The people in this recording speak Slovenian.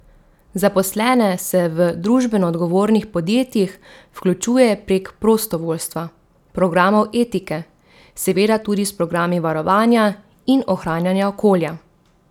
Zaposlene se v družbenoodgovornih podjetjih vključuje prek prostovoljstva, programov etike, seveda tudi s programi varovanja in ohranjanja okolja.